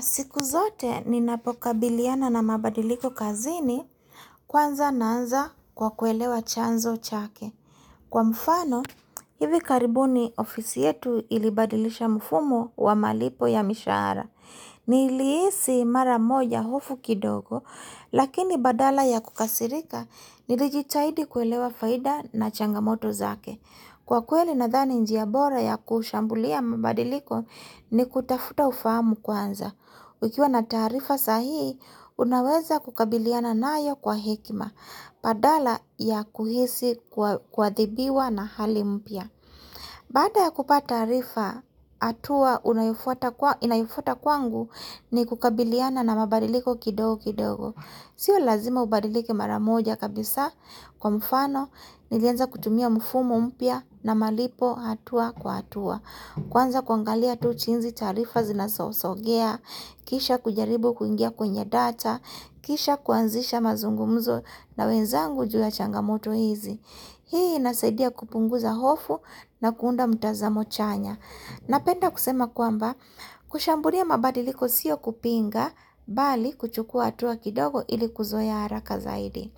Siku zote ni napoka biliana na mabadiliko kazini, kwanza naanza kwa kuelewa chanzo chake. Kwa mfano, hivi karibuni ofisi yetu ilibadilisha mfumo wa malipo ya mishahara. Nilihisi mara moja hofu kidogo, lakini badala ya kukasirika, nilijitahidi kuelewa faida na changamoto zake. Kwa kweli na dhani njiabora ya kushambulia mabadiliko ni kutafuta hufamu kwanza. Ukiwa na taarifa sahihi, unaweza kukabiliana nayo kwa hekima, badala ya kuhisi kua dhibiwa na hali mpya. Baada ya kupata taarifa, hatua inayofuta kwangu ni kukabiliana na mabadiliko kidogo kidogo. Sio lazima ubadilike maramoja kabisa kwa mfano, nilianza kutumia mfumo mpya na malipo hatua kwa hatua. Kwanza kuangalia tu jinsi taarifa zinasosogea, kisha kujaribu kuingia kwenye data, kisha kuanzisha mazungumzo na wenzangu juu ya changamoto hizi. Hii nasaidia kupunguza hofu na kuunda mtazamo chanya. Napenda kusema kwamba, kushambulia mabadiliko siyo kupinga, bali kuchukua hatua kidogo ili kuzoea haraka zaidi.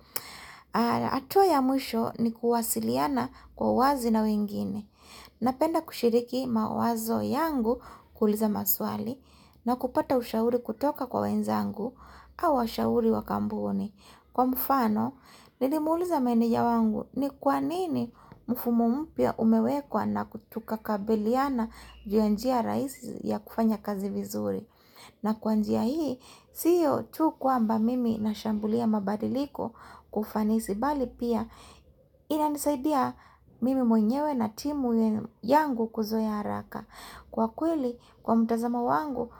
Hatua ya mwisho ni kuwasiliana kwa wazi na wengine. Napenda kushiriki mawazo yangu kuuliza maswali na kupata ushauri kutoka kwa wenzangu au washauri wakampuni. Kwa mfano, nilimuuliza meneja wangu ni kwanini mfumo mpya umewekwa na kutuka kabiliana juu ya njia rahisi ya kufanya kazi vizuri. Na kwanjia hii, siyo tu kwamba mimi na shambulia mabadiliko kufanisi bali pia ina nisaidia mimi mwenyewe na timu yangu kuzoea haraka. Kwa kweli, kwa mtazamo wangu,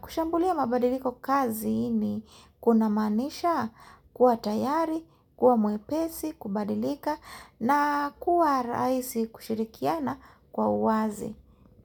kushambulia mabadiliko kazini kuna maanisha kuwa tayari, kuwa mwepesi, kubadilika na kuwa rahisi kushirikiana kwa uwazi.